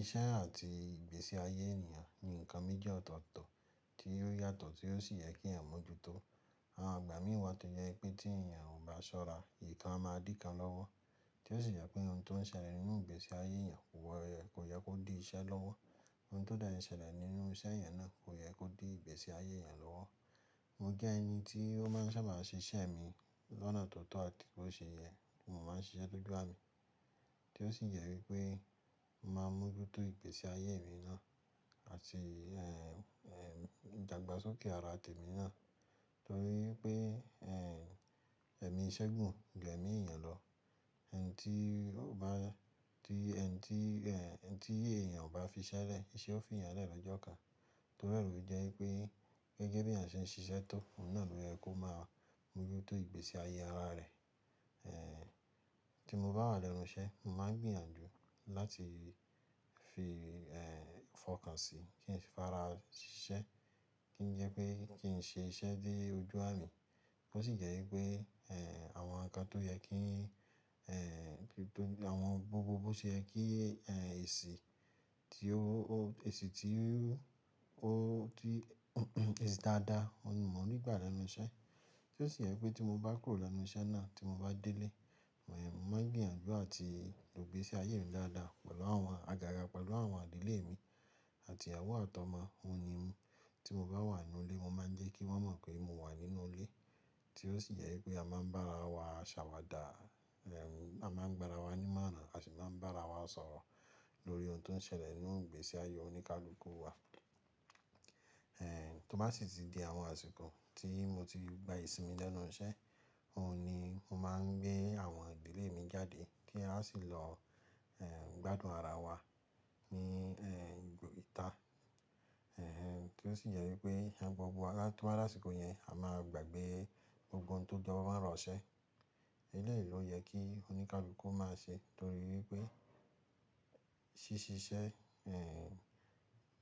Iṣẹ́ àti ìgbésí ayé ènìyàn ni nǹkan méjì ọ̀tọ̀ọ̀tọ̀ tí ó yàtọ̀ tí ó sì yẹ kí èèyàn mójútó. Àwọn ìgbà mí wá tó jẹ pé tí èèyàn ò bá ṣọ́ra, ìkan a máa díkan lọ́wọ́ tí ó sì jẹ pé ohun tó ń ṣẹlẹ̀ nínú ìgbésí ayé èèyàn kò yẹ kó di iṣẹ́ lọ́wọ́. Ohun tó dẹ ń ṣẹlẹ̀ nínú iṣẹ́ èèyàn náà kò yẹ kó di ìgbésí ayé èèyàn lọ́wọ́. Mo jẹ́ ẹni tí ó máa ń sábà ṣe iṣẹ́ mi lọ́nà tó tọ́ àti bó ṣe yẹ kí mo máa ń siṣe dójú àmì tí ó sì jẹ wí pé mo máa mójútó ìgbésí ayé mi náà àti, eh, eh, ìdàgbàsókè ara tèmi náà torí pé, eh, ẹ̀mí iṣẹ́ gùn ju ẹ̀mí èèyàn lọ. Ẹni tí ó bá, tí ẹni tí, eh, ẹni tí èèyàn ò bá fi iṣẹ́ rẹ̀, iṣẹ́ ó fi èèyàn rẹ́ lọ́jọ́ kan. Torí ẹ̀ lo fi jẹ́ wípé gẹ́gẹ́ beeyan ṣe ń ṣiṣẹ́ tọ́, òun náà ló yẹ kó máa mójútó ìgbésí ayé ara rẹ̀. Eh, tí mo bá wà lẹ́nu iṣẹ́, màá gbìyànjú láti fi, eh, fọkàn sí kí n sì fara ṣiṣẹ́ kí ń jẹ́ pé kí ń ṣe iṣẹ́ dé ojú àmì. Ó sì yẹ wípé, eh, àwọn nǹkan tó yẹ kí, eh, gbogbo, àwọn gbogbo bó ṣe yẹ kí, eh, èsì tí ó, èsì tí ó, tí, èsì dáadáa, mo ní gbà lẹ́nu iṣẹ́ tí ó sì yẹ pé tí mo bá kúrò lẹ́nu iṣẹ́ náà tí mo bá délé, mo, eh, mo máa gbìyànjú àti ìgbésí ayé mi dáadáa pẹ̀lú àwọn àgàgà, pẹ̀lú àwọn ìdílé mi àti ìyàwó àti ọmọ. N òun ni tí mo bá wà nínú ilé, mo máa ń jẹ́ kí wọ́n mọ̀ pé mo wà nínú ilé tí ó sì jẹ wípé a máa ń bá ara wa ṣàwàdà, eh, a máa ń gbára wa nímọ́ràn, a sì máa ń bá ara wa sọ̀rọ̀ lórí ohun tó ń ṣẹlẹ̀ nínú ìgbésí ayé oníkálukú wa. Eh, tó bá sì ti di àwọn àsìkò tí mo ti gba ìsinmi lẹ́nu iṣẹ́, òun ni mo máa ń gbé àwọn àgbẹ̀lé mi jáde kí a sì lọ, eh, gbádùn ara wa ní, eh, ibo ìta. Eh, tí ó sì jẹ wípé ẹni gbogbo, àti àwọn àsìkò yẹn a máa gbàgbé ohun tó jọ mọ́ orọ̀ iṣẹ́. Eléyìí ló yẹ kí oníkálukú máa ṣe torí wípé ṣí ṣiṣẹ́, eh,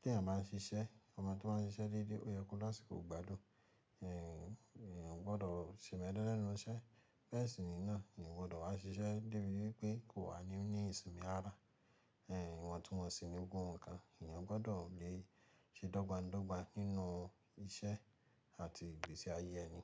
tí èèyàn bá ń ṣiṣẹ́, ọmọ tó bá ń ṣiṣẹ́ dédé, ó yẹ kó láṣíkò gbádùn. Eh, èèyàn ò gbọdọ̀ se'mẹ̀lé lẹ́nu iṣẹ́. Bẹ̀e ṣi ní náà, èèyàn ò gbọdọ̀ wá ṣiṣẹ́ débi wípé kò wà ní, ní ìsinmi ara. Eh, ìwọ̀ntunwọ́nsi ni gbogbo nkan, èèyàn gbọdọ̀ lè ṣe dọ́gbańdọ́gba nínú iṣẹ́ àti ìgbésí ayé ẹni.